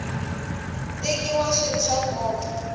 tekiwa swi ri swa nkoka